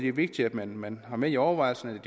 er vigtigt at man man har med i overvejelserne at